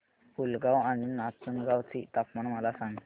पुलगांव आणि नाचनगांव चे तापमान मला सांग